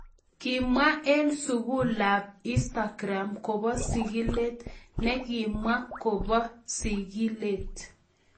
Kimwa en sugulab Instagram kobo sigilet ne kimwa kobo sigilet.